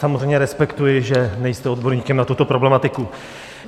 Samozřejmě respektuji, že nejste odborníkem na tuto problematiku.